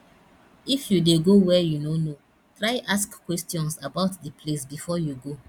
if you de go where you no know try ask questions about di place before you go